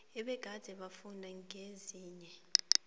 ebegade bafunda kezinye